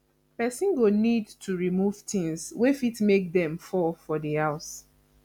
person go need to remove things wey fit make dem fall for di house